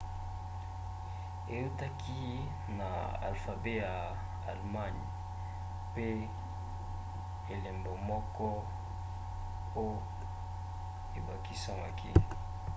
eutaki na alfabe ya allemagne pe elembo moko õ/õ ebakisamaki